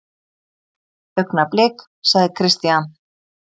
Augnablik, sagði Christian.